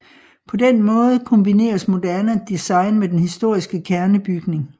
På den måde kombineres moderne design med den historiske kernebygning